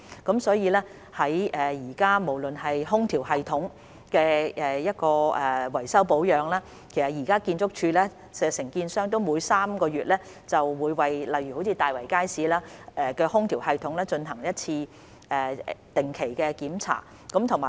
現時，在空調系統的維修保養方面，建築署的承建商會每3個月為例如大圍街市的空調系統，進行一次定期檢查。